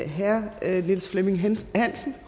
herre niels flemming hansen hansen